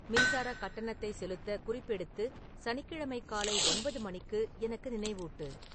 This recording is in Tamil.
மின்சாரக் கட்டணத்தைச் செலுத்த குறிப்பெடுத்து சனிக்கிழமை காலை ஒன்பது மணிக்கு எனக்கு நினைவூட்டு